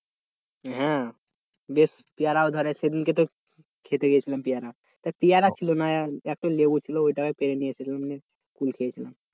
হ্যাঁ, বেশ পেয়ারাও ধরে সেদিনকে তো খেতে গেছিলাম পেয়ারা তা পেয়ারা ছিল না একটা লেবু ছিল ওইটাকে পেরে নিয়ে এসেছিলাম নিয়ে কুল খেয়েছিলাম